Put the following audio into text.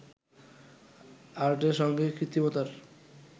আর্টের সঙ্গে কৃত্রিমতার